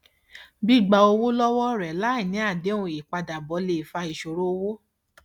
gbígba owó lọwọ ọrẹ láì ní àdéhùn ìpadàbọ lè fa ìṣòro owó